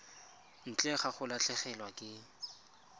ntle ga go latlhegelwa ke